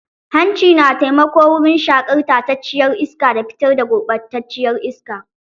Hanci na taimako wurin shaƙar tacacciyar iska da fitar da gurɓataciyar iska.